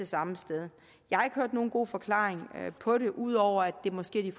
samme sted jeg har ikke hørt nogen god forklaring på det ud over at det måske er